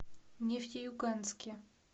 нефтеюганске